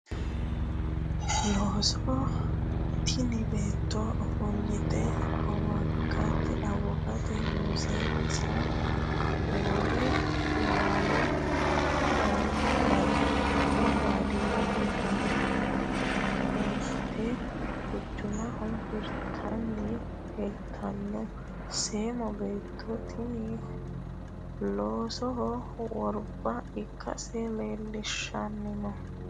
loso tini beetto ofolte awukaato, muusenna wole laalo baadiyete abbite quchumaho hirtanni leltanno seemo beettoti tini loosoho worba ikase leelishanno.